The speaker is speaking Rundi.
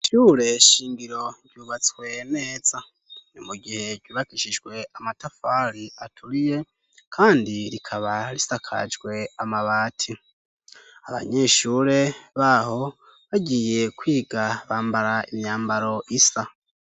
Ishure shingiro ryubatswe neza ni mugihe ryubakishijwe amatafari aturiye kandi rikaba risakajwe amabati. Abanyeshure baho bagiye kwiga bambara imyambaro isa.